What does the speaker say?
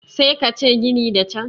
sai ka ce ginin da can